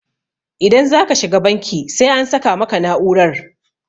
idan za ka shiga banki sai an sa maka na'urar